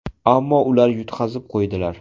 Ammo ular yutqazib qo‘ydilar.